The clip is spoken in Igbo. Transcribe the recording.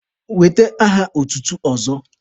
Wete aha otutu ọzọ!